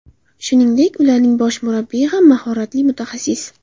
Shuningdek, ularning bosh murabbiyi ham mahoratli mutaxassis.